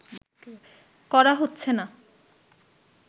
করা হচ্ছে না